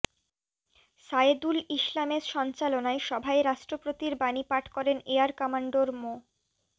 সায়েদুল ইসলামের সঞ্চালনায় সভায় রাষ্ট্রপতির বাণী পাঠ করেন এয়ার কমডোর মো